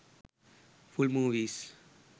full movies